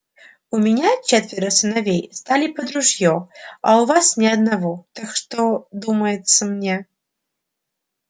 у меня четверо сыновей стали под ружьё а у вас ни одного так что думается мне